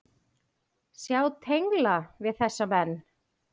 Sjá tengla við þessa menn.